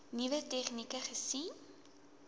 nuwe tegnieke gesien